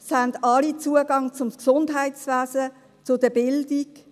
Alle haben Zugang zum Gesundheitswesen und zur Bildung.